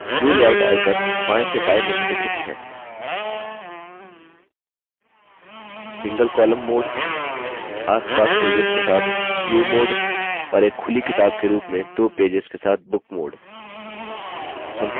view layout icons बाएँ से दाएँ निम्नलिखित हैंsingle column mode single column mode asपास पेजेस के साथ view mode और एक खुली किताब के रूप में दो पेजेस के साथ book mode